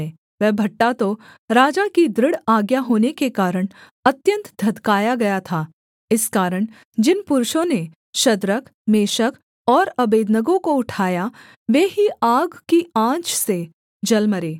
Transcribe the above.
वह भट्ठा तो राजा की दृढ़ आज्ञा होने के कारण अत्यन्त धधकाया गया था इस कारण जिन पुरुषों ने शद्रक मेशक और अबेदनगो को उठाया वे ही आग की आँच से जल मरे